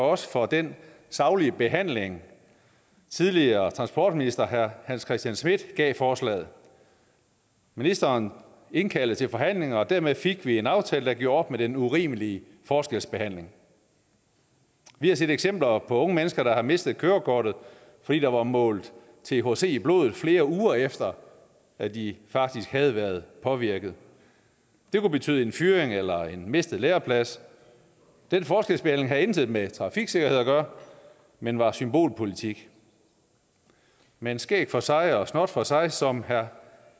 os for den saglige behandling tidligere transportminister herre hans christian schmidt gav forslaget ministeren indkaldte til forhandlinger og dermed fik vi en aftale der gjorde op med den urimelige forskelsbehandling vi har set eksempler på unge mennesker der har mistet kørekortet fordi der var målt thc i blodet flere uger efter at de faktisk havde været påvirket det kunne betyde en fyring eller en mistet læreplads den forskelsbehandling havde intet med trafiksikkerhed at gøre men var symbolpolitik men skæg for sig og snot for sig som herre